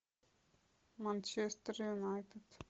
манчестер юнайтед